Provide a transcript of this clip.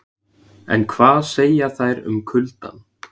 En hvað segja þær um kuldann?